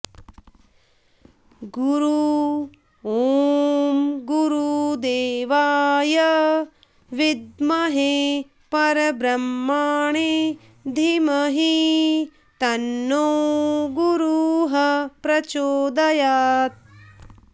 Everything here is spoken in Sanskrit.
गुरु ॐ गुरुदेवाय विद्महे परब्रह्मणे धीमहि तन्नो गुरुः प्रचोदयात्